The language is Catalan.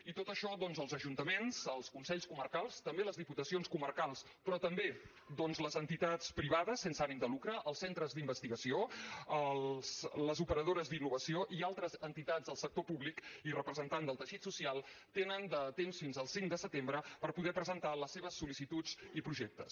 i per tot això doncs els ajuntaments els consells comarcals també les diputacions però també doncs les entitats privades sense ànim de lucre els centres d’investigació les operadores d’innovació i altres entitats del sector públic i representant del teixit social tenen de temps fins al cinc de setembre per poder presentar les seves sol·licituds i projectes